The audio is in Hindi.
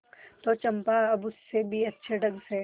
तो चंपा अब उससे भी अच्छे ढंग से